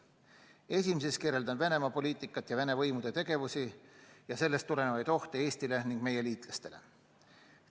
Esimeses kirjeldan Venemaa poliitikat ja Vene võimude tegevust ja sellest tulenevaid ohte Eestile ning meie liitlastele.